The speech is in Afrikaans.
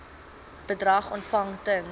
bedrag ontvang ten